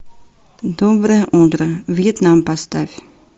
доброе утро вьетнам поставь